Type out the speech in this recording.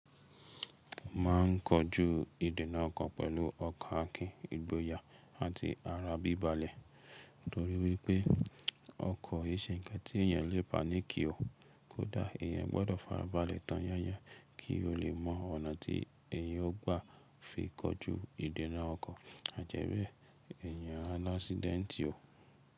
Máa ń kọjú ìdènà ọkọ̀ pẹ̀lú ọkọ́ akínìgboyà àti ara bíbale. Nítorí wípé ọkọ̀ e ṣe ǹkan tí èyàn lè paniki o, kódà èyàn gbọ́dọ̀ farabalẹ̀ tọ́yán yán kí o lè mọ ọ̀nà tí èyàn ó gbà fi kọjú ìdènà ọkọ̀ àjẹ́bé èyàn alásídẹ̀ntì o.